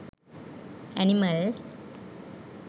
animal